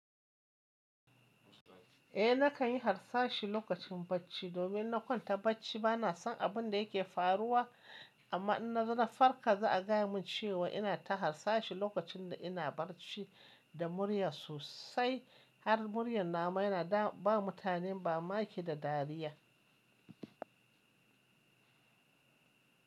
Eh nakan yi harsashi lokacin bacci domin na kwanta bacci bana son abin da yake faruwa amma na zo na farka za a gaya mun cewa ina ta harsashi lokacin da ina bacci da murya sosai har muryar nama yana ba mutane mamaki da dariya.